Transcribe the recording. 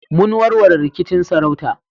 Mun warware rikicin sarauta